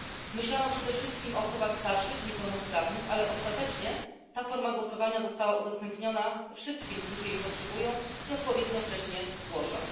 Myślano przede wszystkim o osobach starszych i niepełnosprawnych, ale ostatecznie ta forma głosowania została udostępniona wszystkim, którzy jej potrzebują i odpowiednio wcześnie zgłoszą.